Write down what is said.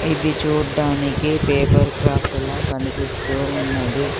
ఇది చూడ్డానికి paper craft ల కనిపిస్తూ ఉన్నది.